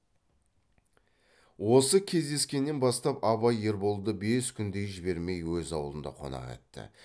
осы кездескеннен бастап абай ерболды бес күндей жібермей өз аулында қонақ етті